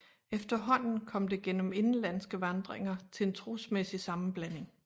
Efterhånden kom det gennem indenlandske vandringer til en trosmæssig sammenblanding